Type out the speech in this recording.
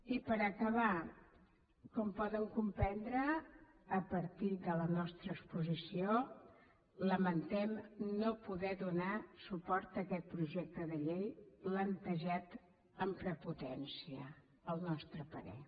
i per acabar com poden comprendre a partir de la nostra exposició lamentem no poder donar suport a aquest projecte de llei plantejat amb prepotència al nostre parer